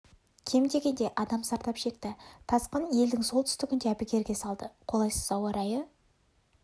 кем дегенде адам зардап шекті тасқын елдің солтүстігін де әбігерге салды қолайсыз ауа райы